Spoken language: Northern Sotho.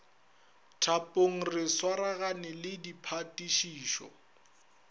thapong re swaragane le diphatišišo